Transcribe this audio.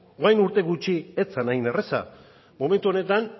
duela urte gutxi ez zen hain erraza momentu honetan